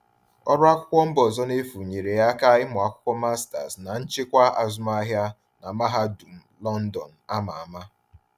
Ọrụ akwụkwọ mba ọzọ n’efu nyere ya aka ịmụ akwụkwọ master’s na nchịkwa azụmahịa na mahadum London a ma ama.